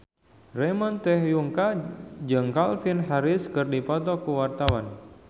Ramon T. Yungka jeung Calvin Harris keur dipoto ku wartawan